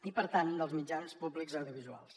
i per tant dels mitjans públics audiovisuals